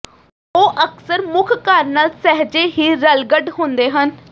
ਉਹ ਅਕਸਰ ਮੁੱਖ ਘਰ ਨਾਲ ਸਹਿਜੇ ਹੀ ਰਲਗੱਡ ਹੁੰਦੇ ਹਨ